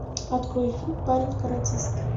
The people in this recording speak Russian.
открой фильм парень каратист